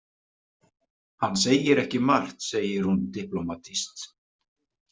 Hann segir ekki margt, segir hún diplómatískt.